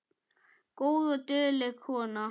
Góð og dugleg kona